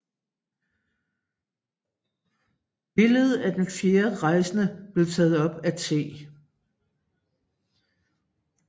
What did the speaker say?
Billedet af den fjerde rejsende blev taget op af T